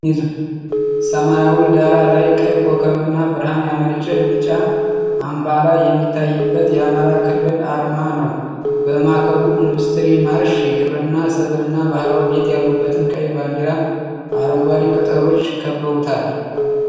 ሰማያዊ ዳራ ላይ ቀይ ኮከብና ብርሃን ያመነጨ ቢጫ አምባላ የሚታይበት የአማራ ክልል አርማ ነው። በማዕከሉ የኢንዱስትሪ ማርሽ፣ የግብርና ሰብልና ባህላዊ ቤት ያሉበትን ቀይ ባንዲራ አረንጓዴ ቅጠሎች ከበውታል።